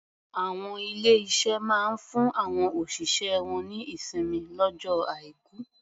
Àwọn ilé-iṣé máa ń fún àwọn òṣìṣẹ́ wọ́n ní ìsinmi lọ́jọ́ Aìkù.